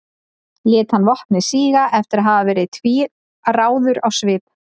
lét hann vopnið síga eftir að hafa verið tvílráður á svip